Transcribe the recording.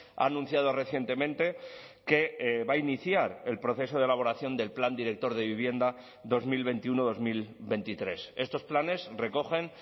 ha anunciado recientemente que va a iniciar el proceso de elaboración del plan director de vivienda dos mil veintiuno dos mil veintitrés estos planes recogen